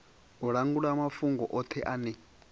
u langula mafhungo othe ane